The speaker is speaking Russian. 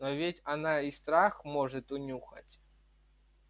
но ведь она и страх может унюхать